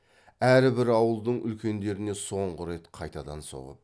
әрбір ауылдың үлкендеріне соңғы рет қайтадан соғып